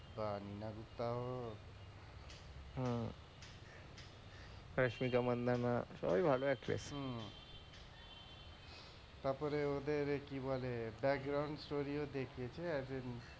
বা নীনা গুপ্তা হোক রেশমিকা মান্দানা সবাই ভালো actors তারপরে ওদের কি বলে background studio দেখিয়েছে as a,